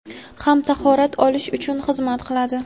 ham tahorat olish uchun xizmat qiladi.